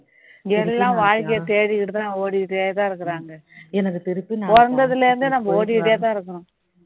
எல்லாம் வாழ்க்கையை தேடிகிட்டு தான் ஓடிகிட்டே தான் இருக்காங்க பிறந்ததுல இருந்தே நம்ம ஓடிகிட்டே தான் இருக்கிறோம்